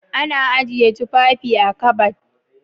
Ana ajiye tufafi a'kabad.